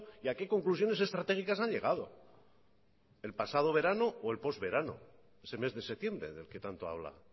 y a qué conclusiones estratégicas han llegado el pasado verano o el postverano ese mes de septiembre del que tanto habla